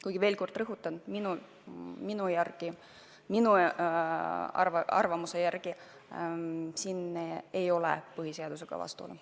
Kuid ma veel kord rõhutan: minu arvamuse järgi siin ei ole põhiseadusega vastuolu.